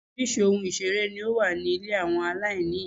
Oríṣiríṣi ohun ìṣeré ní ó wà ní ilé àwọn aláìní ìyá.